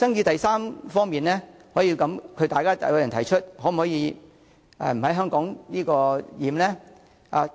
第三方面的爭議是，有人提出可否不在"香港檢"？